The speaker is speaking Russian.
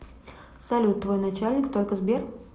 салют твой начальник только сбер